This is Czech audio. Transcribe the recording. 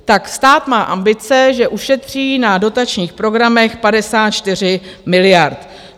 Tak stát má ambice, že ušetří na dotačních programech 54 miliard.